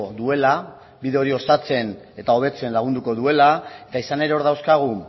duela bide hori osatzen eta hobetzen lagunduko duela eta izan ere hor dauzkagu